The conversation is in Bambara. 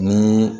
Ni